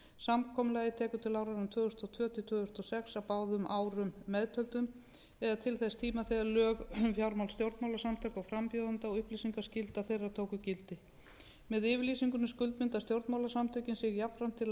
samkomulagið tekur til áranna tvö þúsund og tvö til tvö þúsund og sex að báðum árum meðtöldum eða til þess tíma þegar lög um fjármál stjórnmálasamtaka og frambjóðenda og upplýsingaskylda þeirra tóku gildi með yfirlýsingunni skuldbinda stjórnmálasamtökin sig jafnframt til